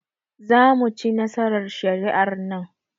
Zamuci nasarar shari'ar nan